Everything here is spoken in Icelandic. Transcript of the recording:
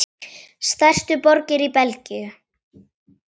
Stærstu borgir í Belgíu